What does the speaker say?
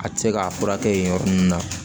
A tɛ se k'a furakɛ yen yɔrɔ ninnu na